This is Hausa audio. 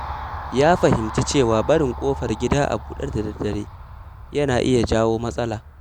Ya fahimci cewa barin ƙofar gida a buɗe da daddare yana iya jawo matsala.